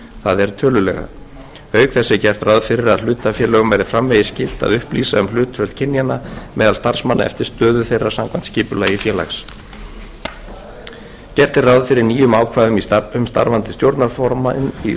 það er tölulega auk þess er gert ráð fyrir að hlutafélögum verði framvegis skylt að upplýsa um hlutföll kynjanna meðal starfsmanna eftir stöðu þeirra samkvæmt skipulagi félags gert er ráð fyrir nýjum ákvæðum um starfandi stjórnarformenn í